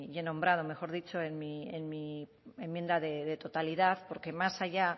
he nombrado mejor dicho en mi enmienda de totalidad porque más allá